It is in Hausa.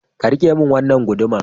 Ka rike min wannan guduma